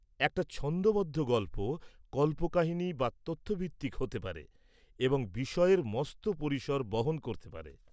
-একটা ছন্দবদ্ধ গল্প কল্পকাহিনী বা তথ্য ভিত্তিক হতে পারে এবং বিষয়ের মস্ত পরিসর বহন করতে পারে।